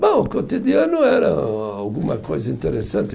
Bom, o cotidiano era alguma coisa interessante.